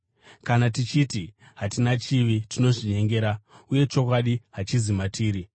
Kana tichiti hatina chivi, tinozvinyengera uye chokwadi hachizi matiri.